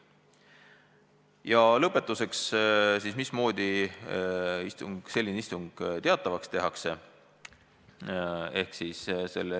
Ja lõpetuseks sellest, mismoodi selline istung teatavaks tehakse.